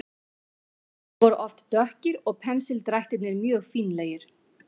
Litirnir voru oft dökkir og pensildrættirnir mjög fínlegir.